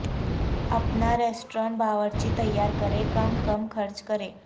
اپنا ریستوران باورچی تیار کریں کم کم خرچ کریں